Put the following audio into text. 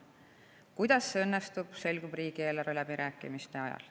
Kuidas see õnnestub, selgub riigieelarve läbirääkimiste ajal.